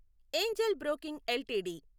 Angel broking LTD